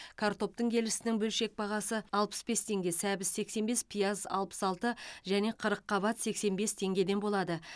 картоптың келісінің бөлшек бағасы алпыс бес теңге сәбіз сексен бес пияз алпыс алты және қырыққабат сексен бес теңгеден болады